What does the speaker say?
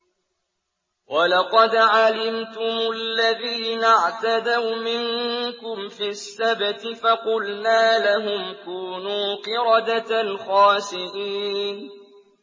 وَلَقَدْ عَلِمْتُمُ الَّذِينَ اعْتَدَوْا مِنكُمْ فِي السَّبْتِ فَقُلْنَا لَهُمْ كُونُوا قِرَدَةً خَاسِئِينَ